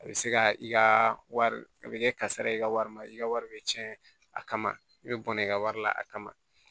A bɛ se ka i ka wari a bɛ kɛ kasara i ka warima i ka wari bɛ cɛn a kama i bɛ bɔnna i ka wari la a kama